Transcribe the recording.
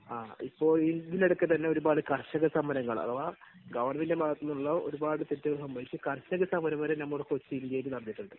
ഇപ്പോൾ ഇതിനിടയ്ക്കുതന്നെ ഒരുപാട് കർഷകസമരങ്ങൾ അഥവാ ഗവൺമെന്റിന്റെ ഭാഗത്തുനിന്നുള്ള ഒരുപാട് തെറ്റുകൾ സംഭവിച്ചു കർഷകസമരം വരെ നമ്മുടെ കൊച്ചി, ഇന്ത്യയിൽ നടന്നിട്ടുണ്ട്.